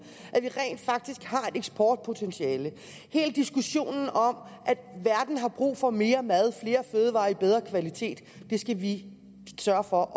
at vi rent faktisk har et eksportpotentiale hele diskussionen om at verden har brug for mere mad flere fødevarer i bedre kvalitet skal vi sørge for